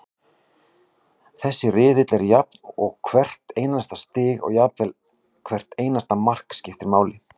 Þessi riðill er jafn og hvert einasta stig og jafnvel hvert einasta mark, skiptir máli.